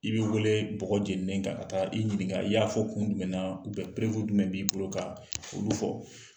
I bɛ wele bɔgɔ jeninen kan ka taa i ɲininka i y'a fɔ kun jumɛn na jumɛn b'i bolo ka olu fɔ